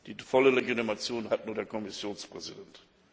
Die volle Legitimation hat nur der Kommissionspräsident.